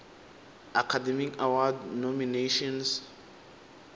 academy award nominations